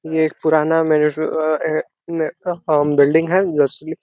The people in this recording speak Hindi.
ये एक पुराना बिल्डिंग है जो स्लि --